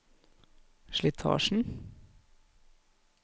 slitasjen